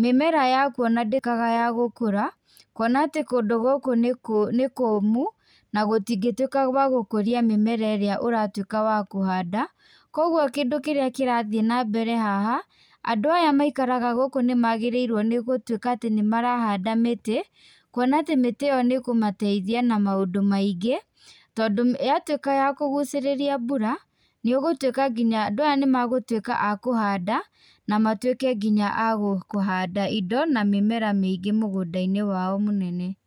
mĩmera yaku ona ndĩkanaya gũkũra kwona atĩ kũndũ gũkũ nĩ kũmũ na gũtingĩtuĩka gwa gũkũria mĩmera ĩrĩa ũratuĩka wa kũhanda. Kwoguo kĩndũ kĩrĩa kĩrathiĩ na mbere haha andũ arĩa maikaraga gũkũ nĩ magĩrĩirwo nĩ gũtuĩka atĩ nĩ marahanda mĩtĩ, kwona atĩ mĩtĩ ĩyo nĩ kũmateithia na maũndũ maingĩ tondũ ya tuĩka ya kũgucĩrĩria mbura nĩ ũgũtuĩka nginya, andũ aya nĩ magũtuĩka a kũhanda na matuĩke nginya a kũhanda mĩmera mĩingĩ thĩinĩ wa mũgũnda wao mũnene.